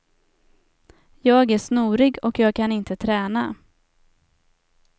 Jag är snorig och jag kan inte träna.